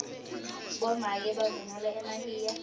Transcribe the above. bomake bavunula emahiya